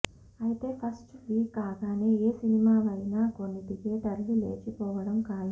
అయితే first week కాగానే ఏ సినిమా వైనా కొన్ని థియేటర్లు లేచిపోవడం ఖాయం